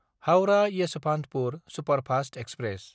Howrah Yesvantpur superfast express